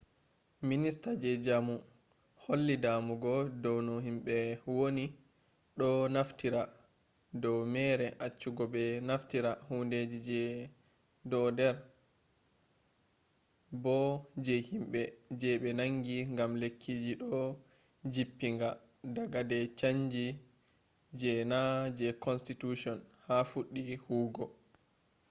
minista je jamoo holli damugo dou no himbe woni do naftira do mere acchugo be naftira hundeji je doder bo je himbe je be nangi gam lekkiji do jippinga daga de changi je na je constitution ba fuddi huwugo